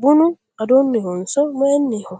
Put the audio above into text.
bunu adonnihonso mayinniho